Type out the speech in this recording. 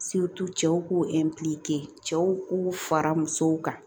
cɛw k'u cɛw k'u fara musow kan